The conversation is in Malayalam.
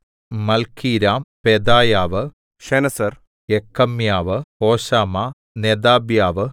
Malchiram Pedaiah Shenazar Jekamiah Hoshama Nedabiah